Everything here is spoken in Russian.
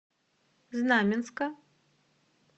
знаменска